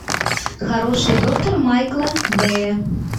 хороший доктор майкла бэя